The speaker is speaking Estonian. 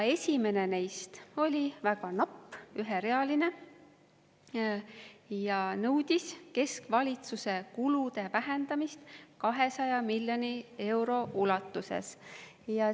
Esimene neist oli väga napp, üherealine, ja nõudis keskvalitsuse kulude vähendamist 200 miljoni euro ulatuses.